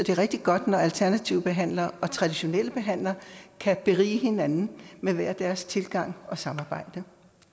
er rigtig godt når alternative behandlere og traditionelle behandlere kan berige hinanden med hver deres tilgang og samarbejde